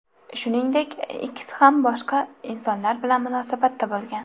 Shuningdek, ikkisi ham boshqa insonlar bilan munosabatda bo‘lgan.